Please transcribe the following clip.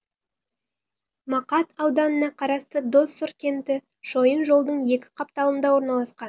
мақат ауданына қарасты доссор кенті шойын жолдың екі қапталында орналасқан